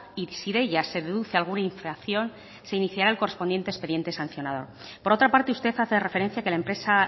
y si de ellas se deduce alguna infracción se iniciará el correspondiente expediente sancionador por otra parte usted hace referencia a que la empresa